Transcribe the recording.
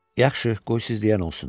Yaxşı, qoy siz deyən olsun.